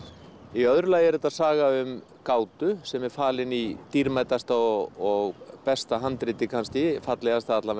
í öðru lagi er þetta saga um gátu sem er falin í dýrmætasta og besta handriti kannski fallegasta